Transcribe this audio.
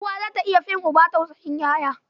Uwa za ta iya fin uba tausayin ƴaƴa.